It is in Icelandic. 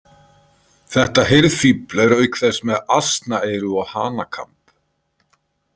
Þetta hirðfífl er auk þess með asnaeyru og hanakamb.